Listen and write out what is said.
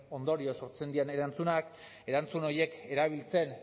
ondorioz sortzen diren erantzunak erantzun horiek erabiltzen